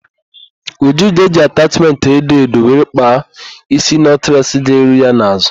Uju ga-eji atachmentị edo edo were kpaa ísí nọtless ga-eru ya n'azụ.